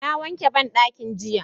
Na wanke banɗaki ɗin jiya.